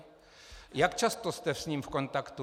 Jak často jste s ním v kontaktu?